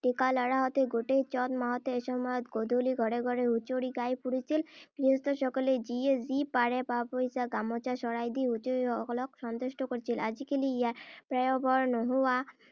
ডেকা ল’ৰাহঁতে গোটেই চ’ত মাহতে এসময়ত গধূলি ঘৰে ঘৰে হুঁচৰি গাই ফুৰিছিল। গৃহস্থসকলে যিয়ে যি পাৰে পা-পইচা, গামোচা, শৰাই দি হুঁচৰিসকলক সন্তুষ্ট কৰিছিল। আজিকালি ইয়াৰ পয়োভৰ নোহোৱা